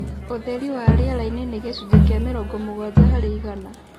ũtheri wa rĩera-inĩ na gĩcunjĩ kĩa mĩrongo mũgwanja harĩ igana